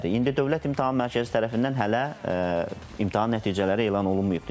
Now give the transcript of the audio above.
İndi Dövlət İmtahan Mərkəzi tərəfindən hələ imtahan nəticələri elan olunmayıbdır.